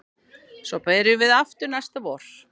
Svo byrjum við aftur næsta vor